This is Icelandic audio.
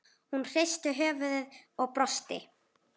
Hún hristir höfuðið og brosir.